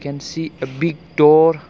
and see a big door.